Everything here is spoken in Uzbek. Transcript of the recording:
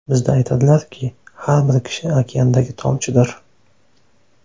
Bizda aytadilarki, har bir kishi okeandagi tomchidir.